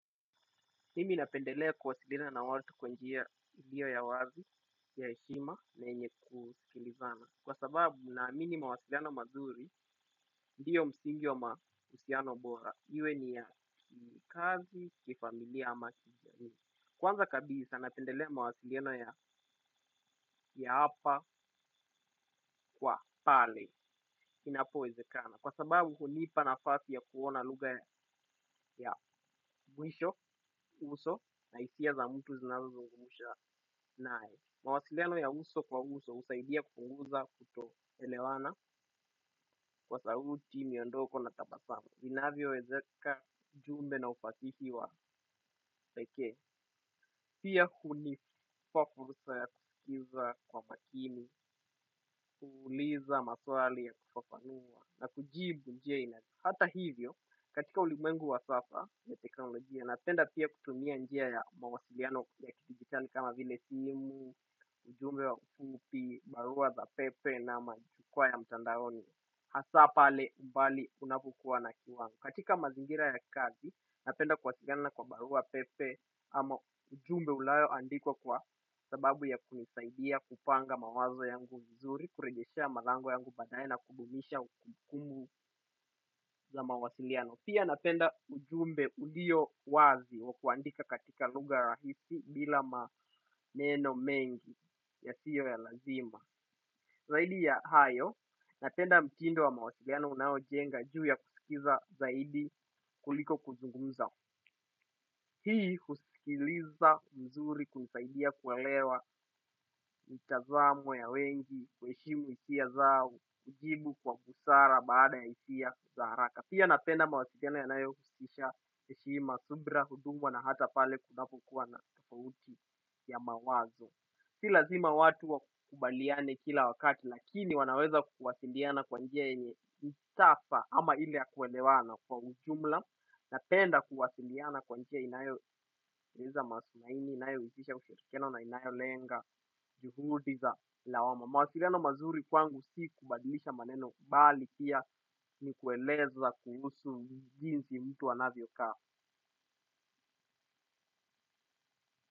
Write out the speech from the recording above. Mimi napendelea kuwasiliana na watu kwa njia ilio ya wazi, ya heshima na yenye kusikilizana. Kwa sababu naamini mawasiliano mazuri, ndio msingi wa ma husiano bora. Iwe ni ya kikazi, kifamilia, ama kijani. Kwanza kabisa napendelea mawasiliano ya hapa kwa pale, inapo wezekana. Kwa sababu hunipa nafasi ya kuona lugha ya mwisho uso na hisia za mtu zinazo zungumusha nae. Mawasiliano ya uso kwa uso husaidia kupunguza kutoelewana kwa sauti miondoko na tabasamu. Inavyo wezeka jumbe na ufasihi wa peke. Pia hunipa fursa ya kusikiza kwa makini, kuuliza maswali ya kufafanua na kujibu njia inazio. Hata hivyo, katika ulimengu wa safa ya teknolojia, napenda pia kutumia njia ya mawasiliano ya kitigitali kama vile simu, ujumbe wa kufupi, barua za pepe na majukwa ya mtandaroni. Hasaa pale mbali unapokua na kiwangu. Katika mazingira ya kazi napenda kuwasiliana kwa barua pepe ama ujumbe unayo andikwa kwa sababu ya kunisaidia kupanga mawazo yangu vizuri, kurejeshea malango yangu badaye na kudumisha kumbukumbu za mawasiliano. Pia napenda ujumbe uliyo wazi wa kuandika katika lugha rahisi bila maneno mengi yasiyo ya lazima. Zaidi ya hayo, napenda mtindo wa mawasiliana unao jenga juu ya kusikiza zaidi kuliko kuzungumza. Hii kusikiliza mzuri kunisaidia kuelewa mtazamo ya wengi, kuheshimu hisia zao, kujibu kwa busara baada itia zaaraka. Pia napenda mawasiliano yanayo husisha heshima subra na hata oal. Si lazima watu wa kubaliane kila wakati lakini wanaweza kuwasiliana kwa njia yenye itafa ama ili ya kuelewana kwa ujumla napenda kuwasiliana kwa njia inayo eneza masu naini inayo ujisha kushotikeno na inayo lenga juhudi za ilawama. Mawasiliano mazuri kwangu si kubadilisha maneno bali pia ni kueleza jinsi myu anvyo kaa.